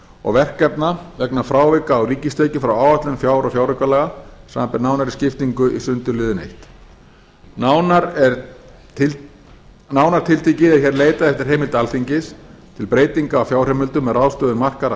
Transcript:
og verkefna vegna frávika á ríkistekjum frá áætlun fjár og fjáraukalaga samanber nánari skiptingu í sundurliðun fyrsta nánar tiltekið er leitað eftir heimild alþingis á breytinga á fjárheimildum með ráðstöfun markaðra